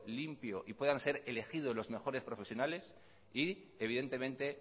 limpio y puedan ser elegidos los mejores profesionales y